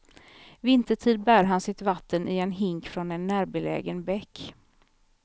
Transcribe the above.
Vintertid bär han sitt vatten i en hink från en närbelägen bäck.